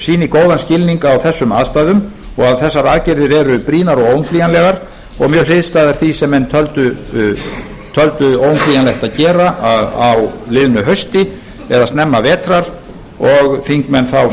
sýni góðan skilning á þessum aðstæðum og að þessar aðgerðir eru brýnar og óumflýjanlegar og mjög hliðstæðar því sem menn töldu óumflýjanlegt að gera á liðnu hausti eða snemma vetrar og þingmenn þá